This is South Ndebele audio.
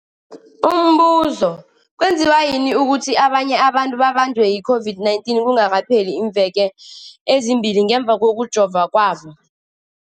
Umbuzo, kwenziwa yini ukuthi abanye abantu babanjwe yi-COVID-19 kungakapheli iimveke ezimbili ngemva kokujova kwabo?